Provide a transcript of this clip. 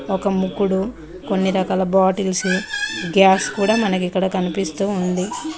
ఒక ముగ్గురు కొన్ని రకాల బాటిల్స్ గ్యాస్ కూడా మనకు ఇక్కడ కనిపిస్తూ ఉంది.